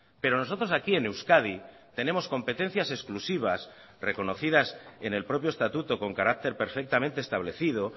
pero nosotros aquí en euskadi tenemos competencias exclusivas reconocidas en el propio estatuto con carácter perfectamente establecido